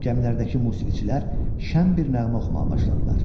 Gəmilərdəki musiqiçilər şən bir nəğmə oxumağa başladılar.